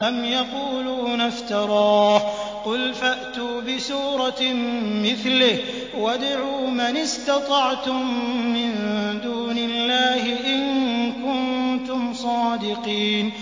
أَمْ يَقُولُونَ افْتَرَاهُ ۖ قُلْ فَأْتُوا بِسُورَةٍ مِّثْلِهِ وَادْعُوا مَنِ اسْتَطَعْتُم مِّن دُونِ اللَّهِ إِن كُنتُمْ صَادِقِينَ